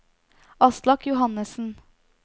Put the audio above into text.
Aslak Johannesen